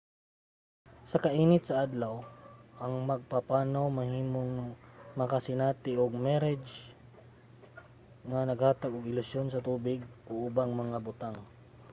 sa kainit sa adlaw ang mga magpapanaw mahimong makasinati og mirage nga naghatag og ilusyon sa tubig o ubang mga butang